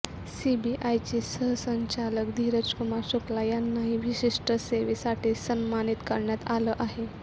सीबीआयचे सहसंचालक धीरज कुमार शुक्ला यांनाही विशिष्ट सेेवेसाठी सन्मानित करण्यात आलं आहे